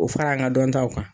O fara an ka dɔntaw kan